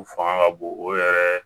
U fanga ka bon o yɛrɛ